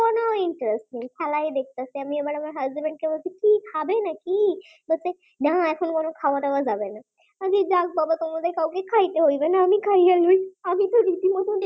খুব interesting খারায় দেখতাছি এবার আমি আমার husband বলছি কি খাবে নাকি বলছে নাহ এখন কোন খাওয়া-দাওয়া যাবেনা, আমি বলছি যাক বাবা তোমাদের কাউকে খাইতে লাগবে না আমি খাইয়ে লই আমি তো রীতিমতো